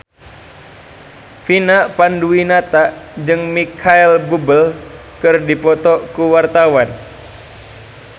Vina Panduwinata jeung Micheal Bubble keur dipoto ku wartawan